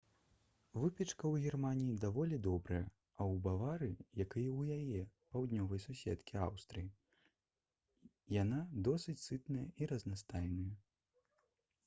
выпечка ў германіі даволі добрая а ў баварыі як і ў яе паўднёвай суседкі аўстрыі яна досыць сытная і разнастайная